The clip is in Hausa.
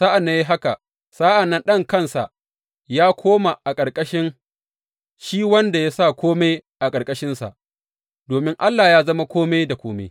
Sa’ad da ya yi haka, sa’an nan Ɗan kansa yă koma a ƙarƙashin shi wanda ya sa kome a ƙarƙashinsa, domin Allah yă zama kome da kome.